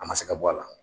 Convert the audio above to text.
A ma se ka bɔ a la